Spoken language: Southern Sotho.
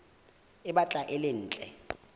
e batlang e le ntle